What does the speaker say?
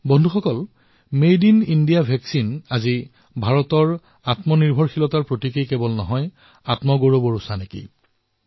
বন্ধুসকল made in India vaccine আজি ভাৰতৰ আত্মনিৰ্ভৰতাৰ প্ৰতীক হৈ উঠাৰ লগতে আত্মগৌৰৱৰো প্ৰতীক হৈ উঠিছে